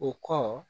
O kɔ